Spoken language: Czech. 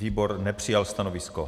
Výbor nepřijal stanovisko.